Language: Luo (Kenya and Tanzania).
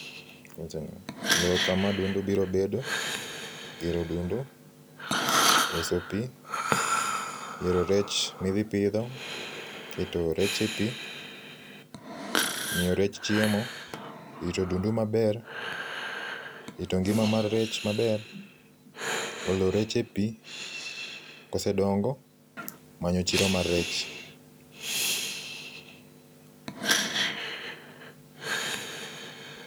,yiero kama odundu biro bedo, yiero odundu, loso pii, yiero rech midhi pidho, keto rech e pii, miyo rech chiemo, rito odundu maber, rito ngima mar rech maber, golo rech e pii kosedongo, manyo chiro mar rech